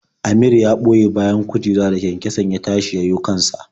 Amir ya ɓoye bayan kujera da kyankyason ya tashi ya yiwo kan sa.